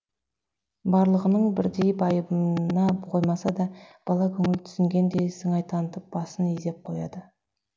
барлығының бірдей байыбына қоймаса да бала көңіл түсінгендей сыңай танытып басын изеп қояды